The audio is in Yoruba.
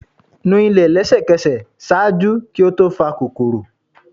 nu ile lẹsẹkẹsẹ! ṣaaju ki o to fa kokoro.